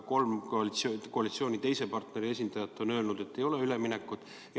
Kolm koalitsiooni teise partneri esindajat on aga öelnud, et ei ole üleminekut.